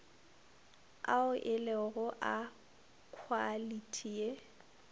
ao elego a khwalithi ye